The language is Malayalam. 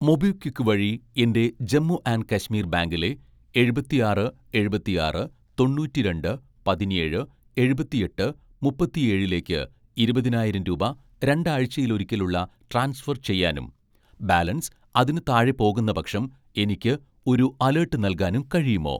മൊബിക്വിക്ക് വഴി എൻ്റെ ജമ്മു ആൻഡ് കശ്മീർ ബാങ്കിലെ എഴുപത്തിആറ് എഴുപത്തിആറ് തൊണ്ണൂറ്റിരണ്ട് പതിനേഴ് എഴുപത്തിഎട്ട് മുപ്പത്തിഏഴിലേക്ക് ഇരുപതിനായിരം രൂപ രണ്ടാഴ്‌ചയിലൊരിക്കലുള്ള ട്രാൻസ്ഫർ ചെയ്യാനും ബാലൻസ് അതിന് താഴെ പോകുന്നപക്ഷം എനിക്ക് ഒരു അലേട്ട് നൽകാനും കഴിയുമോ